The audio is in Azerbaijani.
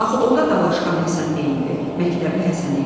Axı o da dalaşqan Həsən deyildi, məktəbli Həsən idi.